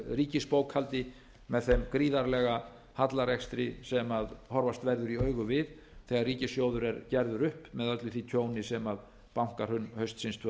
ríkisbókhaldi með þeim gríðarlega hallarekstri sem horfast verður í augu við þegar ríkissjóður er gerður upp með öllu því tjóni sem bankahrun haustsins tvö